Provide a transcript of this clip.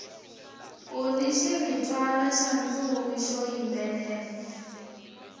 uni xiritwana xa ntsumi xo yimbelela